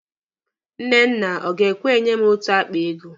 Nnenna ọ ga-ekwe enye m otu akpa ego.